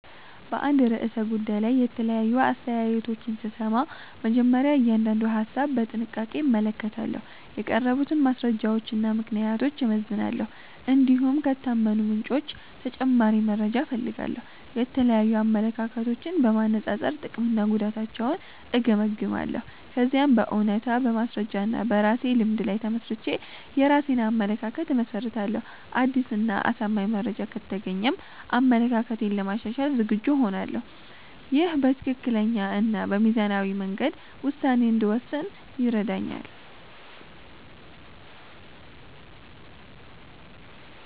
በአንድ ርዕሰ ጉዳይ ላይ የተለያዩ አስተያየቶችን ስሰማ፣ መጀመሪያ እያንዳንዱን ሀሳብ በጥንቃቄ እመለከታለሁ። የቀረቡትን ማስረጃዎችና ምክንያቶች እመዝናለሁ፣ እንዲሁም ከታመኑ ምንጮች ተጨማሪ መረጃ እፈልጋለሁ። የተለያዩ አመለካከቶችን በማነጻጸር ጥቅምና ጉዳታቸውን እገመግማለሁ። ከዚያም በእውነታ፣ በማስረጃ እና በራሴ ልምድ ላይ ተመስርቼ የራሴን አመለካከት እመሰርታለሁ። አዲስ እና አሳማኝ መረጃ ከተገኘም አመለካከቴን ለማሻሻል ዝግጁ እሆናለሁ። ይህ በትክክለኛ እና በሚዛናዊ መንገድ ውሳኔ እንድወስን ይረዳኛል።